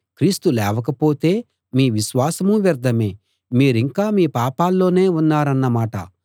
క్రీస్తు లేవకపోతే మీ విశ్వాసం వ్యర్థమే మీరింకా మీ పాపాల్లోనే ఉన్నారన్నమాట